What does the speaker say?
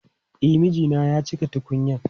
E, mijina ya je cika tukunyan.